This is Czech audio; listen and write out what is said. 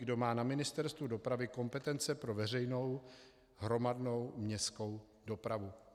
Kdo má na Ministerstvu dopravy kompetence pro veřejnou hromadnou městskou dopravu?